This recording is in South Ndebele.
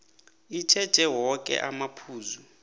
itjheje woke amaphuzu